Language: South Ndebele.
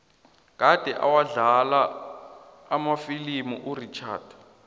kade awadlala amafilimu urichard